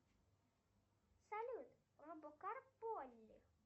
салют робокар поли